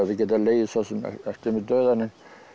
getað legið eftir mig dauðan